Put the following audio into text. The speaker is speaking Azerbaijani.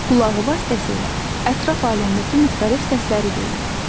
Qulağı vasitəsilə ətraf aləmdəki müxtəlif səsləri duyur.